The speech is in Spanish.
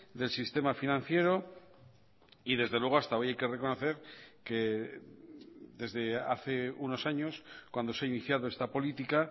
del sistema financiero y desde luego hasta hoy hay que reconocer que desde hace unos años cuando se ha iniciado esta política